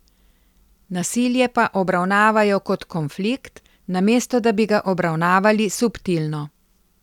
Nasilje pa obravnavajo kot konflikt, namesto da bi ga obravnavali subtilno.